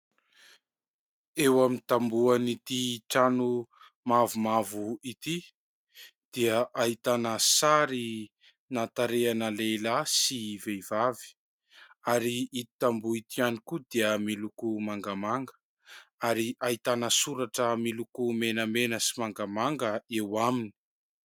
Eo amin'ny tamboho an'ity trano mavomavo ity dia ahitana sarina tarehina lehilahy sy vehivavy, ary ito tamboho ito ihany koa dia miloko mangamanga ary ahitana soratra miloko menamena sy mangamanga eo aminy.